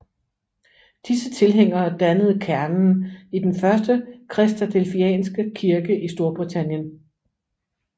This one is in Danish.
Disse tilhængere dannede kernen i den første kristadelfianske kirke i Storbritannien